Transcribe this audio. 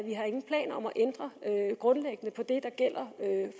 ændre grundlæggende på det der gælder